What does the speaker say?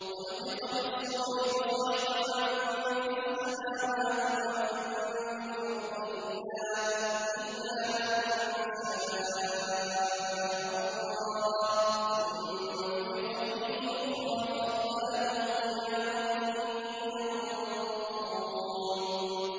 وَنُفِخَ فِي الصُّورِ فَصَعِقَ مَن فِي السَّمَاوَاتِ وَمَن فِي الْأَرْضِ إِلَّا مَن شَاءَ اللَّهُ ۖ ثُمَّ نُفِخَ فِيهِ أُخْرَىٰ فَإِذَا هُمْ قِيَامٌ يَنظُرُونَ